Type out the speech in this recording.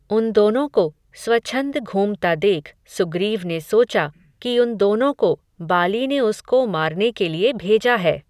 उन दोनों को, स्वच्छन्द घूमता देख, सुग्रीव ने सोचा, कि उन दोनों को, बाली ने उसको मारने के लिए भेजा है